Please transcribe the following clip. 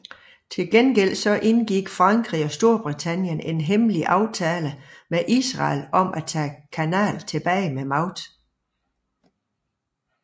Til gengæld indgik Frankrig og Storbritannien en hemmelig aftale med Israel om at tage kanalen tilbage med magt